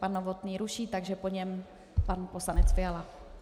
Pan Novotný ruší, takže po něm pan poslanec Fiala.